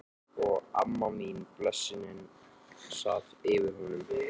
Og amma mín, blessunin, sat yfir honum.